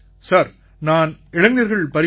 sir நான் இளைஞர்கள் பரிமாற்றத்